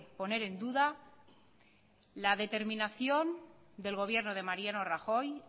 poner en duda la determinación del gobierno de mariano rajoy